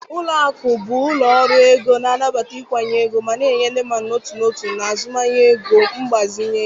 Ụlọ akụ bụ ụlọ ọrụ ego na-anabata nkwụnye ego ma na-enye ndị mmadụ n'otu n'otu na azụmahịa ego mgbazinye ego.